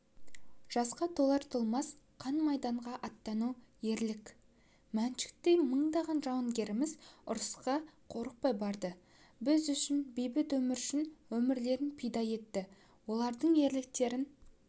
жасқа толар-толмас қан-майданға аттану ерлік мәншүктей мыңдаған жауынгеріміз ұрысқа қорықпай барды біз үшін бейбіт өмір үшін өмірлерін пида етті олардың ерлігін